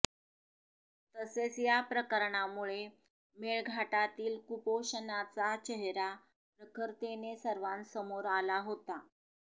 तसेच या प्रकरणामुळे मेळघाटातील कुपोषणाचा चेहरा प्रखरतेने सर्वांसमोर आला होता